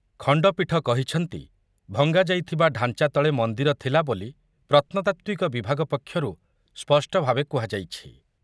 ଖଣ୍ଡପୀଠ କହିଛନ୍ତି, ଭଙ୍ଗାଯାଇଥିବା ଢାଞ୍ଚା ତଳେ ମନ୍ଦିର ଥିଲାବୋଲି ପ୍ରତ୍ନତାତ୍ତ୍ୱିକ ବିଭାଗ ପକ୍ଷରୁ ସ୍ପଷ୍ଟଭାବେ କୁହାଯାଇଛି ।